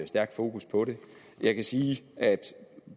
stærkt fokus på det jeg kan sige at